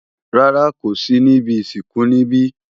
Rárá, kò sí níbi ìsìnkú níbí.